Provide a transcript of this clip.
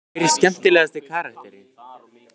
Hver er skemmtilegasti karakterinn?